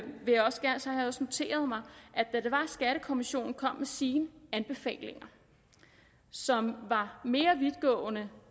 også noteret mig at da skattekommissionen kom med sine anbefalinger som var mere vidtgående